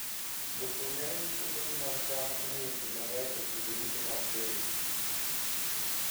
Jopur neno ni puothegi mag cham imiyo pi maber e kinde duto mag keyo.